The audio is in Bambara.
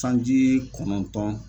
Sanji kɔnɔntɔn.